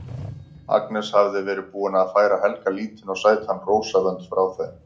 Agnes hafði verið búin að færa Helga lítinn og sætan rósavönd frá þeim